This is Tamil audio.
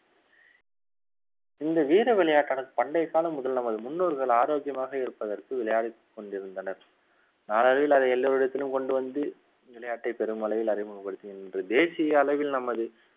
இந்த வீர விளையாட்டான பண்டைய காலம் முதல் நமது முன்னோர்கள் ஆரோக்கியமாக இருப்பதற்கு விளையாடிக் கொண்டிருந்தனர் நாளடைவில் அதை எல்லோரிடத்திலும் கொண்டு வந்து விளையாட்டை பெரும் அளவில் அறிமுகப்படுத்துகின்ற தேசிய அளவில் நமது